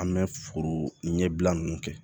An bɛ foro ɲɛbila ninnu kɛ